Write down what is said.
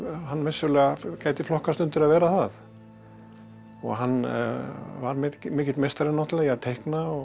hann vissulega gæti flokkast undir að vera það og hann var mikill meistari náttúrulega í að teikna og